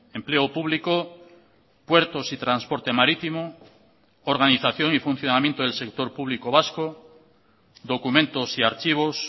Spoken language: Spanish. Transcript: empleo público puertos y transporte marítimo organización y funcionamiento del sector público vasco documentos y archivos